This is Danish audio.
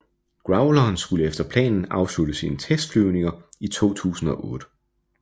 Growleren skulle efter planen afslutte sine testflyvninger i 2008